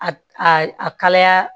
A a kalaya